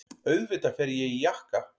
Auðvitað fer ég í jakka.